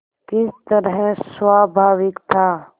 किस तरह स्वाभाविक था